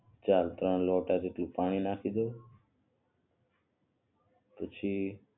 ચાલ ત્રણ લોટા જેટલું પાણી નાખી દવ